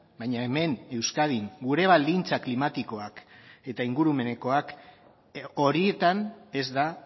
baina hemen euskadin gure baldintza klimatikoak eta ingurumenekoak horietan ez da